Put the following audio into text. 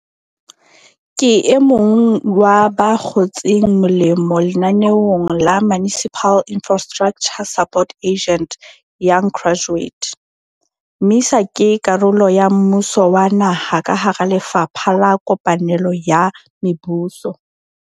Ke emong wa ba kgotseng molemo lenaneong la Municipal Infrastructure Support Agent Young Graduate. MISA ke karolo ya mmuso wa naha ka hara Lefapha la Kopanelo ya Mebuso.